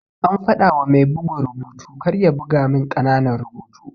Ana fadawa mai bugun rubutu karya buga min ƙananan rubutu.